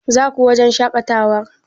Zaku wajen shaƙatawar?